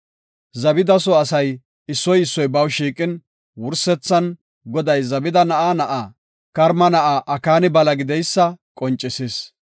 Zabida soo asay issoy issoy baw shiiqin, wursethan Goday Zabida na7a na7aa, Karma na7aa Akaani bala gideysa qoncisis.